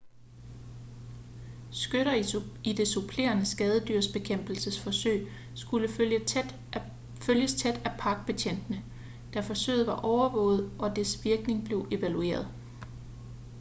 skytter i det supplerende skadedyrsbekæmpelsesforsøg skulle følges tæt af parkbetjentene da forsøget var overvåget og dets virkning blev evalueret